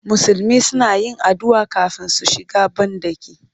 Musulmi suna yin addu'a kafin su shiga banɗaki